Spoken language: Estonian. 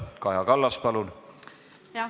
Kaja Kallas, palun!